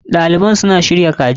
Ɗaliban suna shirya kaji.